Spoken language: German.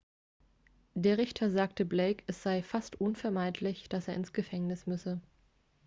der richter sagte blake es sei fast unvermeidlich dass er ins gefängnis müsse